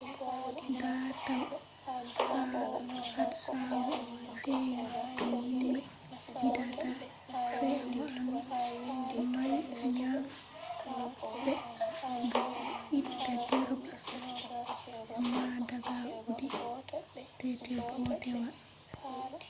daatal ha hatsaru fe’ii do himɓe yidata fe'anuu maɓɓi ngam be itta direba man daga audi tt bodewa